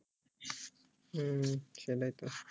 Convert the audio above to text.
হম সেটাই তো